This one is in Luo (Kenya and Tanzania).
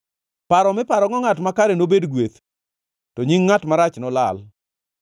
Paro miparogo ngʼat makare nobed gweth, to nying ngʼat marach nolal.